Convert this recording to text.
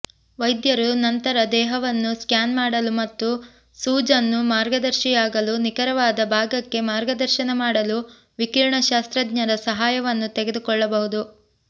ವೈದ್ಯರು ನಂತರ ದೇಹವನ್ನು ಸ್ಕ್ಯಾನ್ ಮಾಡಲು ಮತ್ತು ಸೂಜನ್ನು ಮಾರ್ಗದರ್ಶಿಯಾಗಲು ನಿಖರವಾದ ಭಾಗಕ್ಕೆ ಮಾರ್ಗದರ್ಶನ ಮಾಡಲು ವಿಕಿರಣಶಾಸ್ತ್ರಜ್ಞರ ಸಹಾಯವನ್ನು ತೆಗೆದುಕೊಳ್ಳಬಹುದು